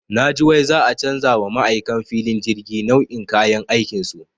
Naji wai za'a canja wa ma'aikan filin jirgi nau'in kayan aikinsu.